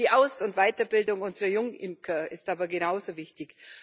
Die Aus und Weiterbildung unserer Jungimker ist aber genauso wichtig.